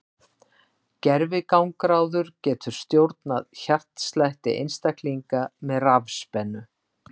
Gervigangráður getur stjórnað hjartslætti einstaklinga með rafspennu.